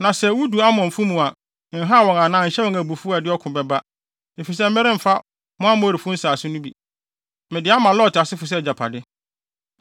Na sɛ wudu Amonfo mu a, nhaw wɔn anaa nhyɛ wɔn abufuw a ɛde ɔko bɛba, efisɛ meremma mo Amorifo nsase no bi. Mede ama Lot asefo sɛ agyapade.”